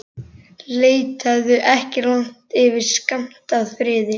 Leitaðu ekki langt yfir skammt að friði.